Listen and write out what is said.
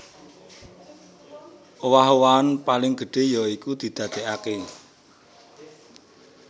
Owah owahan paling gedhé ya iku didadèkaké